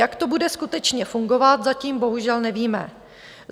Jak to bude skutečně fungovat, zatím bohužel nevíme.